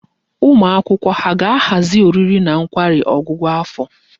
Ụmụ akwụkwọ ha ga-ahazi oriri na nkwari ọgwụgwụ afọ?